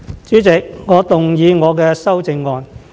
主席，我動議我的修正案。